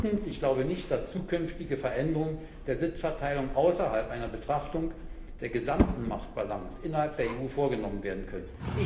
Drittens Ich glaube nicht, dass zukünftige Veränderungen der Sitzverteilung unabhängig von einer Betrachtung der gesamten Machtbalance innerhalb der EU vorgenommen werden können.